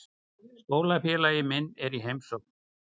Skólafélagi minn er í heimsókn.